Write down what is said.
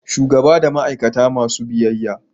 shugaba na da ma'aikata masu biyyaya